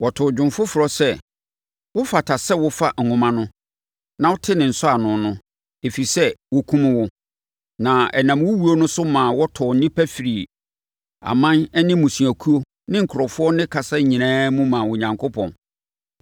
Wɔtoo dwom foforɔ sɛ, “Wofata sɛ wofa nwoma no na wote ne nsɔano no, ɛfiri sɛ wɔkumm wo, na ɛnam wo wuo so maa wɔtɔɔ nnipa firii aman ne mmusuakuo ne nkurɔfoɔ ne kasa nyinaa mu maa Onyankopɔn.